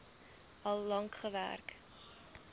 al lank gewerk